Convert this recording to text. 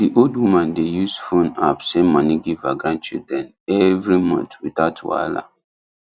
the old woman dey use phone app send money give her grandchildren every month without wahala